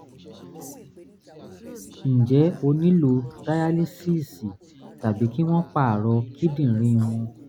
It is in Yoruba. ǹjẹ́ ó nílò dayalísíìsì tàbí kí wọ́n pààrọ̀ kíndìnrín wọn?